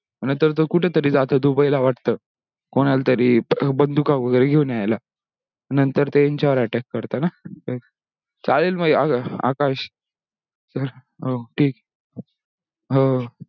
नंतर तो कुठे तरी जातो दुबई ला वाटतो कोणाला तरी बंदूका वगेरे घेऊन यायला नंतर ते यांच्यावर attack करतात ना चालेल मग ये आकाश